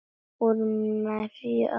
Úr meiru að velja!